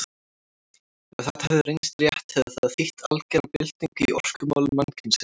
Ef þetta hefði reynst rétt hefði það þýtt algera byltingu í orkumálum mannkynsins.